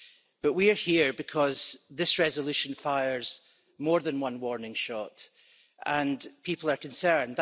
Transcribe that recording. But we are here because this resolution fires more than one warning shot and people are concerned.